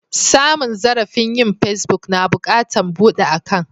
Samun zarrafi yin pesbuk, na bukatan budan akan'.